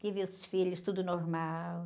Tive os filhos, tudo normal.